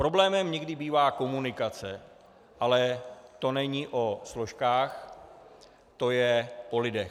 Problémem někdy bývá komunikace, ale to není o složkách, to je o lidech.